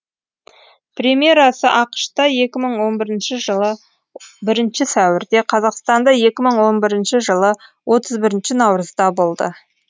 премьерасы ақш та екі мың он бірінші жылы бірінші сәуірде қазақстанда екі мың он бірінші жылы отыз бірінші наурызда болды